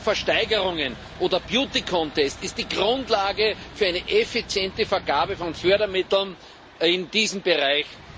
Auch Versteigerungen oder sind die Grundlage für eine effiziente Vergabe von Fördermitteln in diesem Bereich.